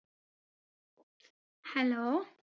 hello